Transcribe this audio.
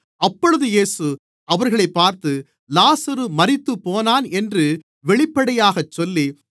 அப்பொழுது இயேசு அவர்களைப் பார்த்து லாசரு மரித்துப்போனான் என்று வெளிப்படையாகச் சொல்லி